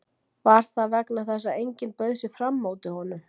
Var það vegna þess að enginn bauð sig fram móti honum?